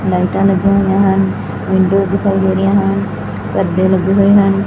ਲਾਈਟਾ ਲੱਗੀਆਂ ਹੋਈਆਂ ਹਨ ਵਿੰਡੋ ਦਿਖਾਈ ਦੇ ਰਹੀਆਂ ਹਨ ਪਰਦੇ ਲੱਗੇ ਹੋਏ ਹਨ।